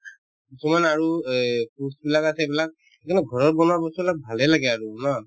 কিছুমান আৰু এই বিলাক আছে সেইবিলাক কিন্তু ঘৰত বনোৱা বস্তুবিলাক ভালে লাগে আৰু ন